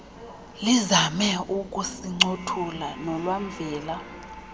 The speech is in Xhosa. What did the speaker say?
lizame ukusincothula nolwamvila